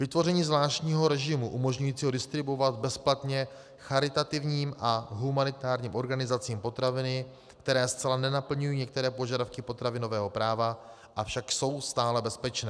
Vytvoření zvláštního režimu umožňujícího distribuovat bezplatně charitativním a humanitárním organizacím potraviny, které zcela nenaplňují některé požadavky potravinového práva, avšak jsou stále bezpečné.